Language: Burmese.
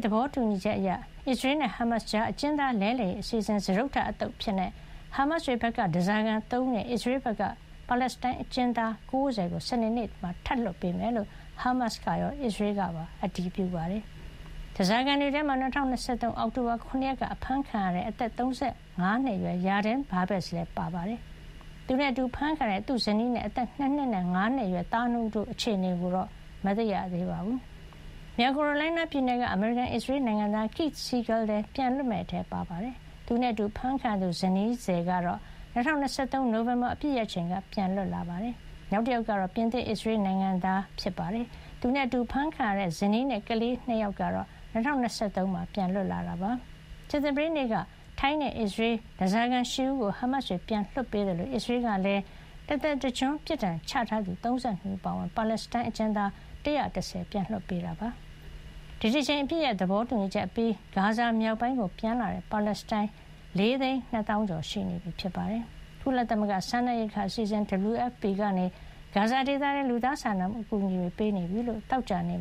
သဘောတူညီချက်အရ အစ္စရေးနဲ့ ဟားမတ်စ်တွေကြား အကျဉ်းသား လဲလှယ်ရေး အစီအစဉ် စတုတ္ထ အသုတ်အဖြစ် ဟားမတ်စ်တွေဘက်က ဓါးစာခံ ၃ ဦးနဲ့ အစ္စရေးဘက်က ပါလက်စတိုင်းအကျဉ်းသား ၉၀ ကို စနေနေ့မှာ ထပ်လွှတ်ပေးမယ်လို့ ဟားမတ်စ်ကရော အစ္စရေးကပါ အတည်ပြုပါတယ်။ ဓါးစာခံတွေထဲမှာ ၂၀၂၃ အောက်တိုဘာ ၇ ရက်က အဖမ်းခံခဲ့ရတဲ့ အသက် ၃၅ နှစ်အရွယ် Yarden Bibas လည်းပါပါတယ်။ သူနဲ့အတူ အဖမ်းခံရတဲ့ သူ့ဇနီးနဲ့ အသက် ၂ နှစ်နဲ့ ၅ နှစ်အရွယ် သား ၂ ဦး တို့ရဲ့ အခြေအနေကိုတော့ မသိရသေးပါဘူး။ မြောက်ကာရိုလိုင်းနား ပြည်နယ်က အမေရိကန်−အစ္စရေး နိုင်ငံသား Keith Siegel လည်း ပြန်လွတ်မယ့်အထဲ ပါဝင်ပြီး သူနဲ့အတူ အဖမ်းခံရသူ ဇနီးသည် Aviva Siegel ကတော့ ၂၀၂၃ နိုဝင်ဘာ အပစ်ရပ်ချိန်က ပြန်လွတ် လာခဲ့တာပါ။ နောက်တယောက်ကတော့ ပြင်သစ်-အစ္စရေး နိုင်ငံသား Ofer Kalderon ဖြစ်ပါတယ်။ သူနဲ့အတူ အဖမ်းခံခဲ့ရတဲ့ ဇနီးနဲ့ ကလေး ၂ ယောက်ကတော့ ၂၀၂၃ မှာ ပြန်လွတ်လာခဲ့ပါတယ်။ ကြာသပတေးနေ့က ထိုင်းနဲ့ အစ္စရေး ဓါးစာခံ ၈ ဦးကို ဟားမတ်စ်တွေက ပြန်လွှတ်ပေးခဲ့သလို အစ္စရေးကလည်း တသက်တကျွန်း ပြစ်ဒဏ်ချထားသူ ၃၂ ဦး အပါအဝင် ပါလက်စတိုင်း အကျဉ်းသား ၁၁၀ ဦးကို ပြန်လွှတ်ပေးခဲ့ပါတယ်။ ဒီတကြိမ် အပစ်ရပ်သဘောတူညီချက်အပြီး ဂါဇာမြောက်ပိုင်းကို ပြန်လာတဲ့ ပါလက်စတိုင်း ၄ သိန်း ၂ သောင်းကျော် ရှိနေပါပြီ။ ကုလသမဂ္ဂ စားနပ်ရိက္ခာအစီအစဉ် WFP ကနေ ဂါဇာဒေသထဲကို လူသားချင်းစာနာမှု အကူအညီ တွေ ပေးနေပြီလို့ သောကြာနေ့